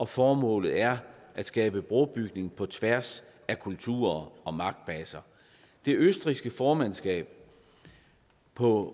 formålet er at skabe brobygning på tværs af kulturer og magtbaser det østrigske formandskab på